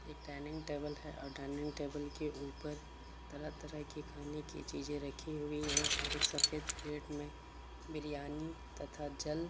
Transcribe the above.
एक dining table है और डाइनिग टेबल के ऊपर तरह तरह के खाने की चीजें रखी हुई है और एक सफ़ेद प्लेट में बिरयानी तथा जल --